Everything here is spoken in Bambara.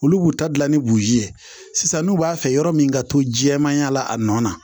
Olu b'u ta dilan ni buruzi ye sisan n'u b'a fɛ yɔrɔ min ka to jɛmanya la a nɔ na